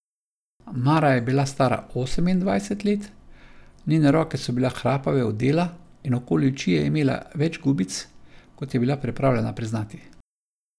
Mara je bila stara osemindvajset let, njene roke so bile hrapave od dela in okoli oči je imela več gubic, kot je bila pripravljena priznati.